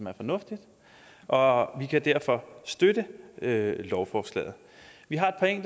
er fornuftigt og vi kan derfor støtte lovforslaget vi har